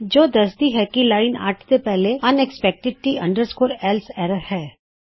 ਜੋ ਦਸਦੀ ਹੈ ਕਿ ਲਾਇਨ 8 ਦੇ ਪਹਿਲੇ ਅੱਨਇਕਸਪੈੱਕਟਿਡ T else ਐਰਰ ਹੈ